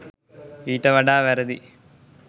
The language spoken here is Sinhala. ඊට වඩා වැරදි